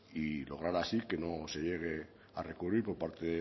y lograr así que no se llegue a recurrir por parte